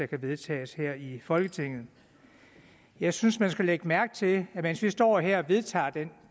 kan vedtages her i folketinget jeg synes man skal lægge mærke til at mens vi står her og vedtager den